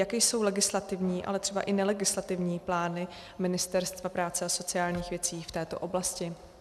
Jaké jsou legislativní, ale třeba i nelegislativní plány Ministerstva práce a sociálních věcí v této oblasti?